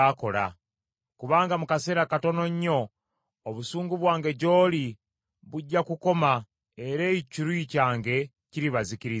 Kubanga mu kaseera katono nnyo obusungu bwange gy’oli bujja kukoma era ekiruyi kyange kiribazikiriza.”